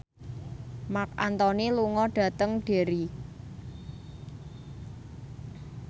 Marc Anthony lunga dhateng Derry